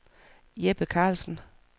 Jeppe Karlsen